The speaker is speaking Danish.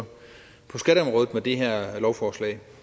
på det her lovforslag